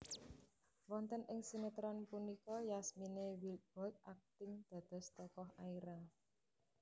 Wonten ing sinétron punika Yasmine Wildbold akting dados tokoh Aira